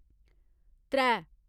त्रै